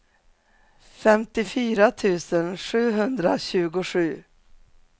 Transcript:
femtiofyra tusen sjuhundratjugosju